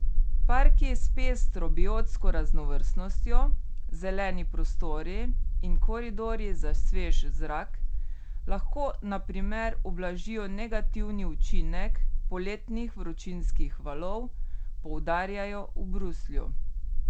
Parki s pestro biotsko raznovrstnostjo, zeleni prostori in koridorji za svež zrak lahko na primer ublažijo negativni učinek poletnih vročinskih valov, poudarjajo v Bruslju.